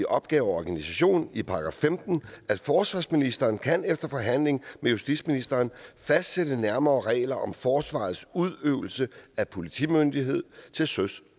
opgaver og organisation i § 15 forsvarsministeren kan efter forhandling med justitsministeren fastsætte nærmere regler om forsvarets udøvelse af politimyndighed til søs